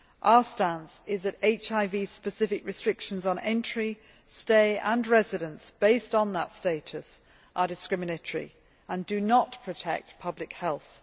Our stance is that HIV specific restrictions on entry, stay and residence based on that status are discriminatory and do not protect public health.